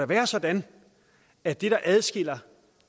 være sådan at det der adskiller